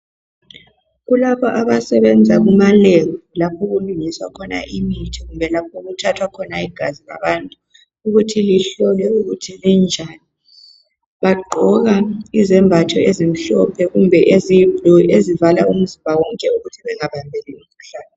Kulabo abasebenza kuma lab, lapho okulungiswa khona imithi kumbe lapho okuthathwa khona igazi labantu ukuthi lihlolwe ukuthi linjani, bagqoka izembatho ezimhlophe kumbe eziyiblue ezivala umzimba wonke ukuthi bengabambi umkhuhlane.